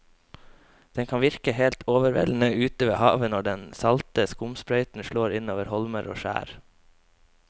Det kan virke helt overveldende ute ved havet når den salte skumsprøyten slår innover holmer og skjær.